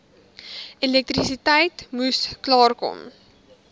elektrisiteit moes klaarkom